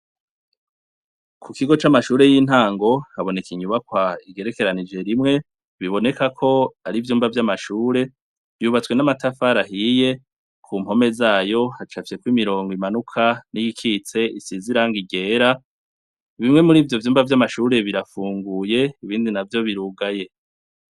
Ku kigo c'amashure y'intango haboneka inyubakwa igerekeranije rimwe, biboneka ko ari ivyuma vy'amashure. Yubatswe n'amatafari ahiye. Ku mpome zayo hacafyeko imirongo imanuka n'iyikitse isize irangi ryera. Bimwe muri ivyo vyumba vy'amashure birafunguye, ibindi navyo birugaye.